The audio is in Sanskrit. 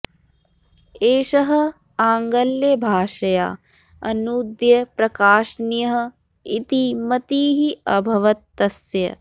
एषः आङ्ग्लभाषया अनूद्य प्रकाशनीयः इति मतिः अभवत् तस्य